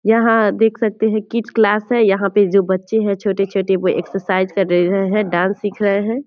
यहाँ देख सकते है किड क्लास है यहाँ पे जो बच्चे है छोटे-छोटे वो एक्सरसाइज कर रहे है डांस सिख रहे है |